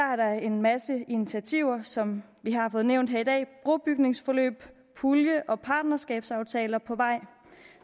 er der en masse initiativer som vi har fået nævnt her i dag brobygningsforløb og pulje og partnerskabsaftaler på vej